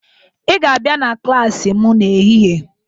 Ị ga-abịa na klaasị m n'ehihie!